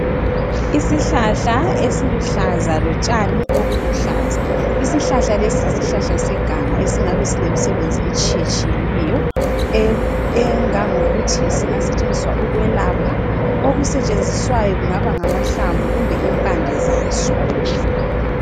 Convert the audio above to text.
Isihlahla esiluhlaza lotshani obuluhlaza. Isihlahla lesi yisihlahla seganga esingabe silemsebenzi etshiyetshiyeneyo engangokuthi singasetshenziswa ukwelapha. Okusetshenziswayo kungaba ngamahlamvu kumbe impande zaso.